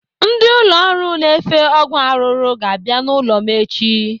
Ndị ụlọ ọrụ na-efe ọgwụ arụrụ ga-abịa n'ụlọ m echi.